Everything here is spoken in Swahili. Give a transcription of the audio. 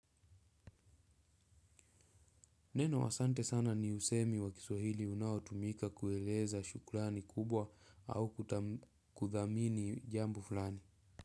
Neno asante sana ni msemo wa kiswahili unaotumika kueleza shukrani kubwa au kuthamini jambo fulani.